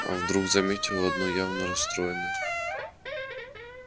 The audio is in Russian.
а гарри вдруг заметил одно явно расстроенное